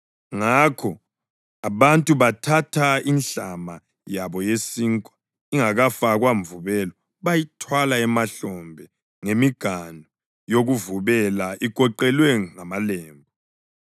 Ngakho abantu bathatha inhlama yabo yesinkwa ingakafakwa mvubelo bayithwala emahlombe ngemiganu yokuvubela igoqelwe ngamalembu.